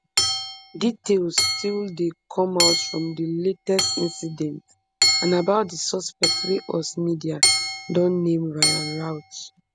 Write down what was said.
details still dey come out from di latest incident and about di suspect wey us media don name ryan routh